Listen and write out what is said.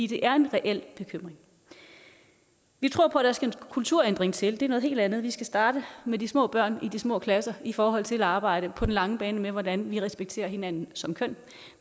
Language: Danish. det er en reel bekymring vi tror på at der skal en kulturændring til det er noget helt andet vi skal starte med de små børn i de små klasser i forhold til at arbejde på den lange bane med hvordan vi respekterer hinanden som køn